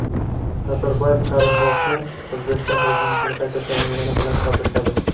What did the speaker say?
Nazarboyev Karimovni O‘zbekiston prezidentligiga qayta saylangani bilan tabrikladi.